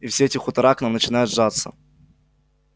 и все эти хутора к нам начинают жаться